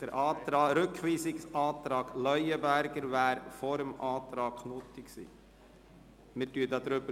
Der Antrag BDP, Leuenberger hätte vor dem Antrag Knutti beschlossen werden müssen.